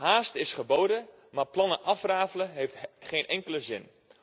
Haast is geboden, maar plannen afrafelen heeft geen enkele zin.